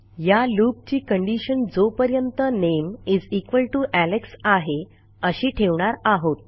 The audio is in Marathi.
या लूपची कंडिशन जोपर्यंत नामे Alexआहे अशी ठेवणार आहोत